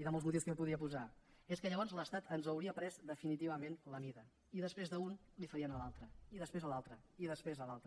i de molts motius que jo podria posar és que llavors l’estat ens hauria pres definitivament la mida i després de a un li farien a l’altre i després a l’altre i després a l’altre